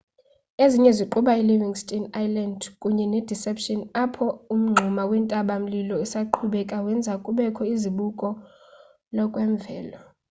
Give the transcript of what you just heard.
ezinye ziquka i-livingston island kunye ne-deception apho umngxuma wentaba-mlilo esaqhubekayo wenza kubekho izibuko lokwemvelo